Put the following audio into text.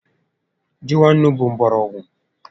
Ji nwa ńnú bụ mgbọrọgwụ